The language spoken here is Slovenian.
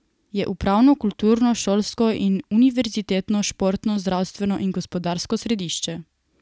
Je upravno, kulturno, šolsko in univerzitetno, športno, zdravstveno in gospodarsko središče.